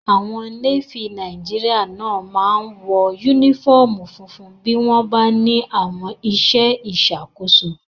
Àwọn Nééfì Nàìjíríyà náà máa n wọ yúnífọ́ọ̀mù funfun bí wọ́n bá ní àwọn iṣẹ́ ìṣàkóso